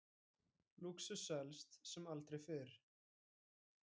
Lúxus selst sem aldrei fyrr